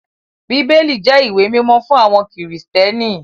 Bíbélì jẹ́ ìwé mímọ́ fún àwọn Kristẹni.